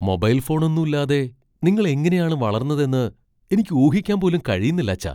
Mobile ഫോണൊന്നൂല്ലാതെ നിങ്ങൾ എങ്ങനെയാണ് വളർന്നതെന്ന് എനിക്ക് ഊഹിക്കാൻ പോലും കഴിയുന്നില്ലച്ഛാ.